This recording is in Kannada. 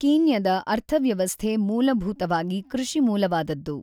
ಕೀನ್ಯದ ಅರ್ಥವ್ಯವಸ್ಧೆ ಮೂಲಭೂತವಾಗಿ ಕೃಷಿಮೂಲವಾದದ್ದು.